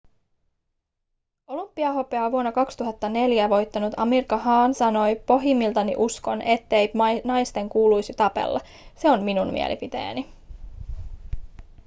olympiahopeaa vuonna 2004 voittanut amir khan sanoi pohjimmiltani uskon ettei naisten kuuluisi tapella se on minun mielipiteeni